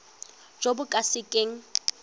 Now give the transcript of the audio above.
jo bo ka se keng